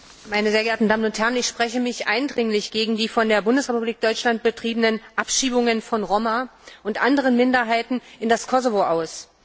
Herr Präsident! Meine sehr geehrten Damen und Herren! Ich spreche mich eindringlich gegen die von der Bundesrepublik Deutschland betriebenen Abschiebungen von Roma und anderen Minderheiten in das Kosovo aus.